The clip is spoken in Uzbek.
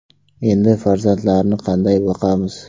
Endi farzandlarni qanday boqamiz?